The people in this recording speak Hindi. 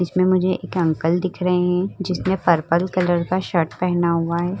इसमें मुझे एक अंकल दिख रहे हैं जिसने पर्पल कलर शर्ट पेहना हुआ है।